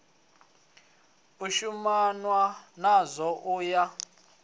u shumanwa nazwo u ya